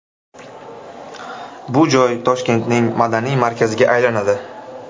Bu joy Toshkentning madaniy markaziga aylanadi.